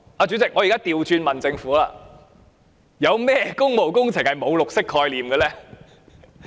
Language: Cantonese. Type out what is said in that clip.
主席，我現在倒過來問政府：有甚麼工務工程是沒有綠色概念的呢？